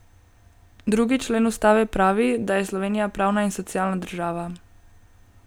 Drugi člen ustave pravi, da je Slovenija pravna in socialna država.